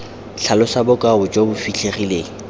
tlhalosa bokao jo bo fitlhegileng